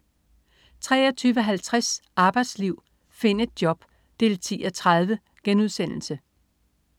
23.50 Arbejdsliv. Find et job! 10:30*